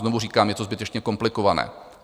Znovu říkám, je to zbytečně komplikované.